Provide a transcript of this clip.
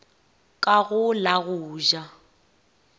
ka go la go ja